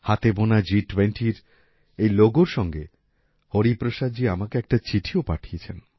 হাতে বোনা জিটুয়েন্টির এই লোগোর সঙ্গে হরিপ্রসাদজী আমাকে একটা চিঠিও পাঠিয়েছেন